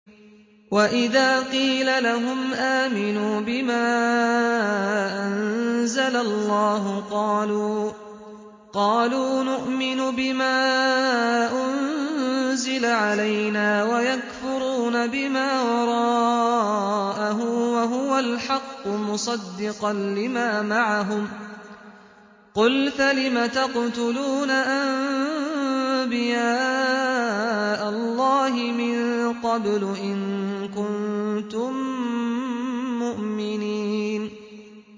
وَإِذَا قِيلَ لَهُمْ آمِنُوا بِمَا أَنزَلَ اللَّهُ قَالُوا نُؤْمِنُ بِمَا أُنزِلَ عَلَيْنَا وَيَكْفُرُونَ بِمَا وَرَاءَهُ وَهُوَ الْحَقُّ مُصَدِّقًا لِّمَا مَعَهُمْ ۗ قُلْ فَلِمَ تَقْتُلُونَ أَنبِيَاءَ اللَّهِ مِن قَبْلُ إِن كُنتُم مُّؤْمِنِينَ